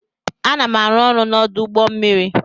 Ana m arụ ọrụ n'ọdụ ụgbọ mmiri.